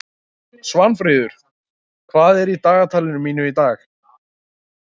Svanfríður, hvað er í dagatalinu mínu í dag?